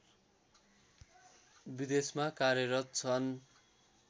विदेशमा कार्यरत छन्